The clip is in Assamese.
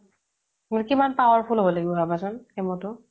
কিমান power full হ'ব লাগিব ভাবাচোন chemo টো